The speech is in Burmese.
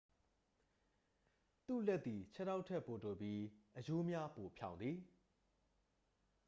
လူ့လက်သည် ခြေထောက်ထက်ပိုတိုပြီး အရိုးများပိုဖြောင့်သည်